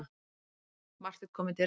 Marteinn kom í dyrnar.